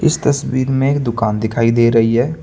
इस तस्वीर में एक दुकान दिखाई दे रही है।